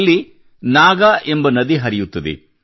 ಇಲ್ಲಿ ನಾಗಾ ನದಿ ಎಂಬ ನದಿ ಹರಿಯುತ್ತದೆ